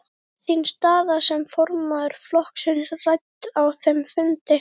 Var þín staða sem formaður flokksins rædd á þeim fundi?